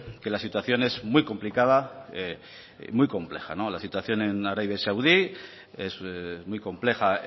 que la situación es muy complicada y muy compleja la situación en arabia saudí es muy compleja